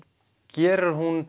gerir hún